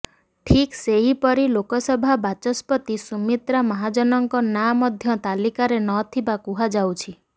ଠିକ୍ ସେହିପରି ଲୋକସଭା ବାଚସ୍ପତି ସୁମିତ୍ରା ମହାଜନଙ୍କ ନାଆଁ ମଧ୍ୟ ତାଲିକାରେ ନ ଥିବା କୁହାଯାଉଛି